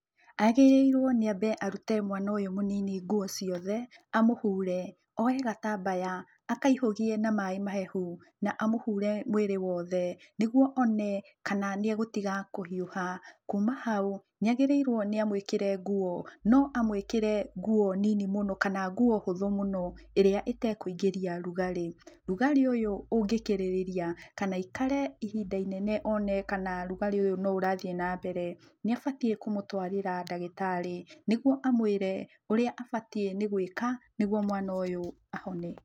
Agĩrĩirũo nĩ ambe arute mwana ũyũ mũnini nguo ciothe, amũhure, oye gatambaya, akaihũgie na maĩ mahehu, na amũhure mwĩrĩ wothe, nĩguo one kana nĩegũtiga kũhiũha. Kuma hau, niagĩrĩirũo nĩ amũĩkĩre nguo, no amũĩkĩre nguo nini mũno kana nguo hũthũ mũno, ĩrĩa ĩtekũingĩria rugarĩ. Rugarĩ ũyũ ũngĩkĩrĩria, kana aikare ihinda inene one kana rugarĩ ũyũ no ũrathiĩ na mbere, nĩabatiĩ kũmũtũarĩra ndagĩtarĩ, nĩguo amwĩre ũrĩa abatiĩ nĩgũĩka nĩguo mwana ũyũ ahone.